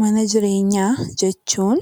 Mana jirewnyaa jechuun